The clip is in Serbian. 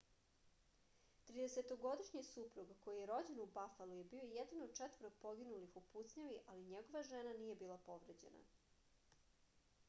30- годишњи супруг који је рођен у бафалу је био један од четворо погинулих у пуцњави али његова жена није била повређена